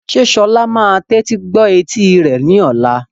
Ṣé Sola yóò tẹ́tí gbọ́ etí rẹ̀ ní ọ̀la?